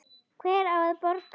Hver á að borga?